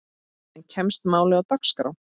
En kemst málið á dagskrá?